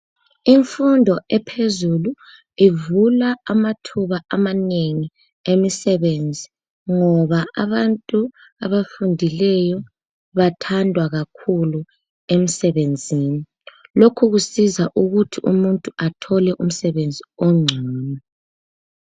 Imfundo ephezulu ivula amathuba amanengi emisebenzi ngoba abantu abafundileyo bathandwa kakhulu emsebenzini lokhu kusiza ukuthi umuntu athole umsebenzi ongcono.